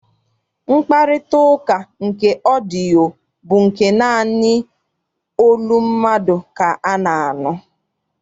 Mkparịtaụka nke ọdịyio bụ naanị olu mmadụ ka a na-anụ.